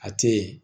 A tɛ yen